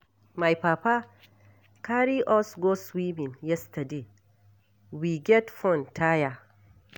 My papa carry us go swimming yesterday, we get fun tire.